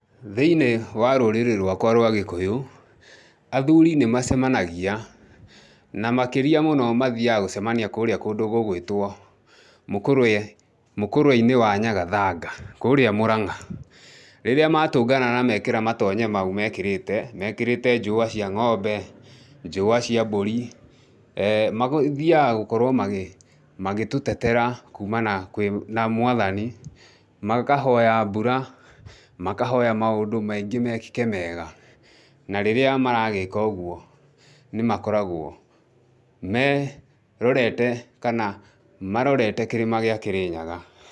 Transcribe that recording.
Thĩinĩ wa rũrĩrĩ rwakwa rwa gĩkũyu, athuri nĩ macemanagia, na makĩria mũno mathiaga gũcemania kũrĩa kũndũ gũgwĩtwo Mũkũrweinĩ wa Nyagathanga, kũrĩa Mũrang'a. Rĩrĩa matũngana na mekĩra matonye mau mekĩrĩte, mekĩrite njũa cia ng'ombe, njũa cia mbũri, mathiaga gũkorũo magĩtũtetera kuuma na, na Mwathani, makahoya mbura, makahoya maũndũ maingĩ mekĩke mega, na rĩrĩa maragĩka ũguo, nĩ makoragũo merorete kana marorete kĩrĩma gĩa kĩrĩnyaga.